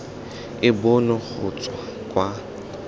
e bonwe go tswa kwa